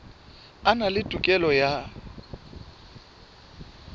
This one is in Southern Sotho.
a na le tokelo ya